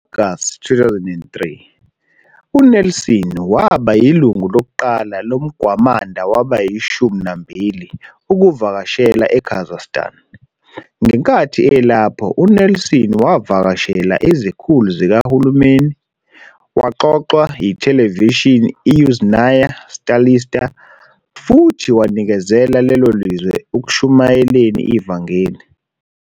Ngo-Agasti 2003, uNelson waba yilungu lokuqala loMgwamanda wabayiShumi naMbili ukuvakashela eKazakhstan. Ngenkathi elapho, uNelson wavakashela izikhulu zikahulumeni, waxoxwa yithelevishini iYuzhnaya Stalitsa, futhi wanikezela lelo zwe ekushumayeleni ivangeli.